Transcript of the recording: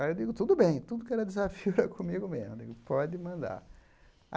Aí eu digo, tudo bem, tudo que era desafio era comigo mesmo, pode mandar.